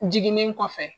Jiginnen kɔfɛ